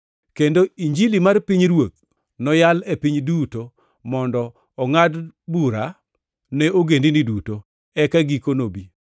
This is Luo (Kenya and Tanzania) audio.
Kendo Injilini mar pinyruoth noyal e piny duto mondo ongʼad bura ne ogendini duto, eka giko nobi.